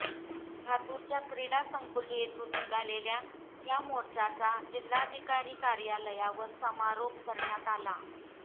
लातूरच्या क्रीडा संकुल येथून निघालेल्या या मोर्चाचा जिल्हाधिकारी कार्यालयावर समारोप करण्यात आला